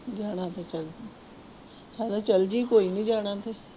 ਜਾਣਾ ਤੇ ਚਲੇ ਜਾਈਂ, ਹਨਾ ਚੱਲ ਜਾਈ ਕੋਈ ਨੀ ਜਾਣਾ ਤੇ